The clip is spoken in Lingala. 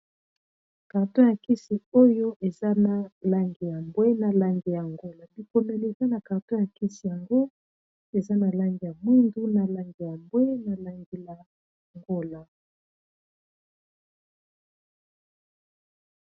Carton ya nkisi oyo eza na langi ya mbwe na langi ya ngolo bikomeleka na carto ya nkisi yango eza na langi ya mwindu na langi ya mbwe na langi ya ngola.